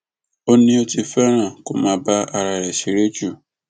ó ní ó ti fẹràn kó máa bá ara rẹ ṣeré jù